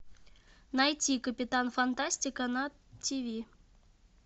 найти капитан фантастика на тиви